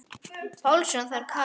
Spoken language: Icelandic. Pálsson kallar það.